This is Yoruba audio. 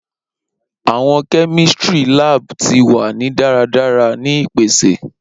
Awọn kemistri lab ti wa ni daradara ni ipese